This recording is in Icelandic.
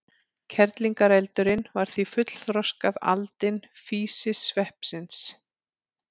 Kerlingareldurinn er því fullþroskað aldin físisveppsins.